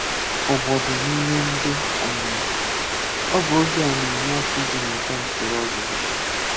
Ụgbọdu n’ime Ndị Omụmụ: Ọ bụ oge a na-enye aka iji mụta usoro ọzụzụ.